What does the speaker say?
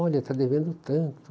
Olha, está devendo tanto.